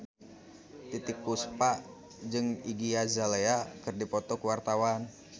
Titiek Puspa jeung Iggy Azalea keur dipoto ku wartawan